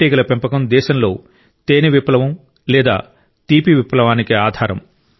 తేనెటీగల పెంపకం దేశంలో తేనె విప్లవం లేదా తీపి విప్లవానికి ఆధారం